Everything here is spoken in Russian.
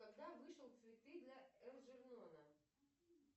когда вышел цветы для элджернона